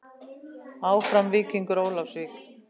Áfram Víkingur Ólafsvík.